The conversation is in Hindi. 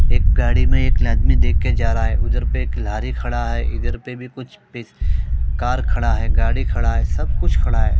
एक गाड़ी में एक आदमी देखकर जा रहा है उधर पे एक कलहारी खड़ा है इधर पे भी कुछ पे कार खड़ा है गाड़ी खड़ा है सब कुछ खड़ा है।